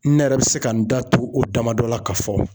Ne yɛrɛ bi se ka n da don o dama dɔ la ka fɔ